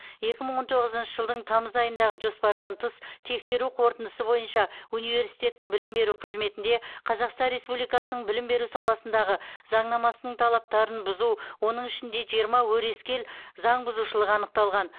екі мың он тоғызыншы жылдың тамыз айындағы жоспардан тыс тексеру қорытындысы бойынша университеттің білім беру қызметінде қазақстан республикасының білім беру саласындағы заңнамасының талаптарын бұзу оның ішінде жиырма өрескел заңбұзушылық анықталған